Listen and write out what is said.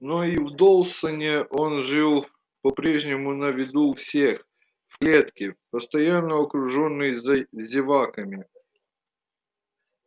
но и в доусоне он жил по прежнему на виду у всех в клетке постоянно окружённый зеваками